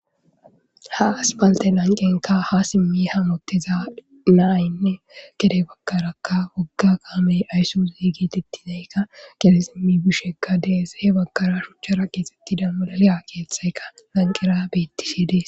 ha aspalte lanqenka ha simmi hamoteza naynne gede bagkaraka wagga gaamey ayssozi geetettinaykka kede simmi bishekka deese he bagkara shuchchara keesetti damudaleya keeththaykka lanqera beettishidii